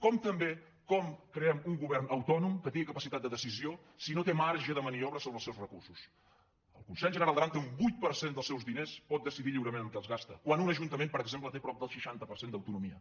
com també com creem un govern autònom que tingui capacitat de decisió si no té marge de maniobra sobre els seus recursos el consell general d’aran té un vuit per cent dels seus diners que pot decidir lliurement en què els gasta quan un ajuntament per exemple té prop del seixanta per cent d’autonomia